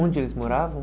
Onde eles moravam?